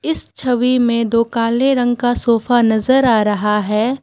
इस छवि में दो काले रंग का सोफा नजर आ रहा है।